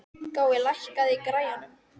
Gói, lækkaðu í græjunum.